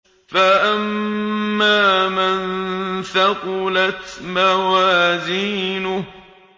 فَأَمَّا مَن ثَقُلَتْ مَوَازِينُهُ